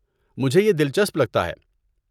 مجھے یہ دلچسپ لگتا ہے۔